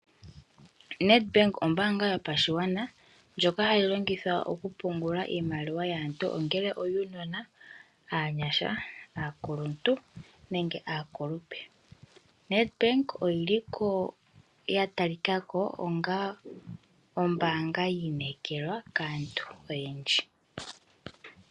Nedbank ombaanga yopashigwana ndjoka hayi longithwa okupungula iimaliwa yaantu ongele oyuujona, aanyasha, aakuluntu nenge aakulupe. Nedbank oyatalika ko onga ombaanga yiinekelwa kaantu oyendji.